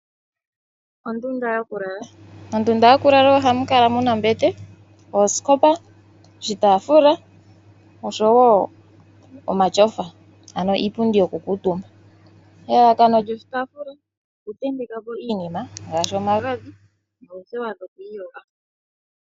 Ondunda yokulala. Ondunda yokulala ohamu kala muna ombete, oosikopa, oshitaafula oshowo omatyofa ano iipundi yokukuutumba . Elalakano lyoshitaafula okutenteka po iinima ngaashi omagadhi noothewa.